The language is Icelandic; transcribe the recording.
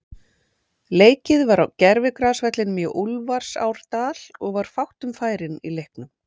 Leikið var á gervigrasvellinum í Úlfarsárdal og var fátt um færin í leiknum.